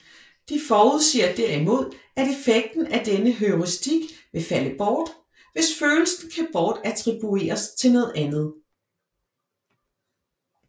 De forudsiger derimod at effekten af denne heuristik vil falde bort hvis følelsen kan bortattribueres til noget andet